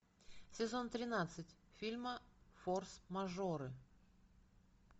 сезон тринадцать фильма форс мажоры